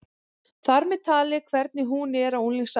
Þar með talið hvernig hún er á unglingsárunum.